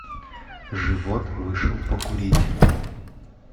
живот вышел покурить